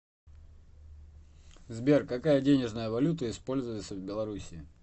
сбер какая денежная валюта используется в белоруссии